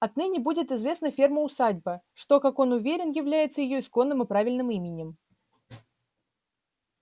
отныне будет известна ферма усадьба что как он уверен является её исконным и правильным именем